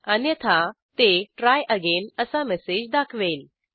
अन्यथा ते try again असा मेसेज दाखवेल